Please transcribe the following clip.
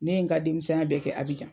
Ne ye n ka denmisɛn ya bɛɛ kɛ Abijan.